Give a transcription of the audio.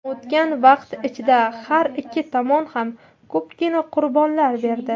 O‘tgan vaqt ichida har ikki tomon ham ko‘pgina qurbonlar berdi.